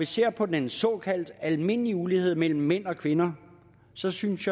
ser på den såkaldte almindelige ulighed mellem mænd og kvinder så synes